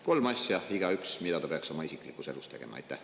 Kolm asja, mida igaüks peaks oma isiklikus elus selleks tegema.